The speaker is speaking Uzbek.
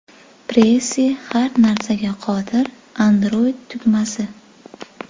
Pressy har narsaga qodir Android tugmasi.